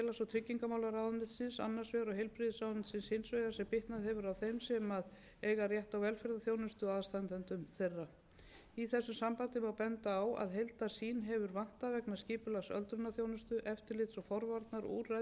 á velferðarþjónustu og aðstandendum þeirra í þessu sambandi má benda á að heildarsýn hefur vantað vegna skipulags öldrunarþjónustu eftirlits og forvarnaúrræða í tengslum við félags og